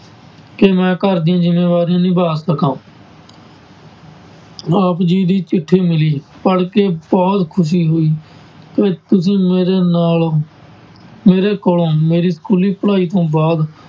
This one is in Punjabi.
ਕਿ ਮੈਂ ਘਰ ਦੀਆਂ ਜ਼ਿੰਮੇਵਾਰੀਆਂ ਨਿਭਾ ਸਕਾਂ ਆਪ ਜੀ ਦੀ ਚਿੱਠੀ ਮਿਲੀ, ਪੜ੍ਹਕੇ ਬਹੁਤ ਖ਼ੁਸ਼ੀ ਹੋਈ, ਤੇ ਤੁਸੀਂ ਮੇਰੇ ਨਾਲ ਮੇਰੇ ਕੋਲੋਂ ਮੇਰੀ ਸਕੂਲੀ ਪੜ੍ਹਾਈ ਤੋਂ ਬਾਅਦ